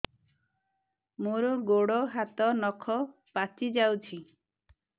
ମୋର ଗୋଡ଼ ହାତ ନଖ ପାଚି ଯାଉଛି